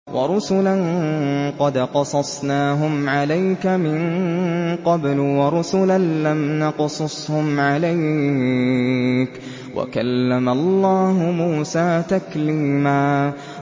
وَرُسُلًا قَدْ قَصَصْنَاهُمْ عَلَيْكَ مِن قَبْلُ وَرُسُلًا لَّمْ نَقْصُصْهُمْ عَلَيْكَ ۚ وَكَلَّمَ اللَّهُ مُوسَىٰ تَكْلِيمًا